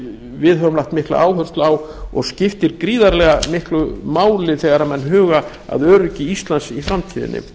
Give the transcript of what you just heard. við höfum lagt mikla áherslu á og skiptir gríðarlega miklu máli þegar menn huga að öryggi íslands í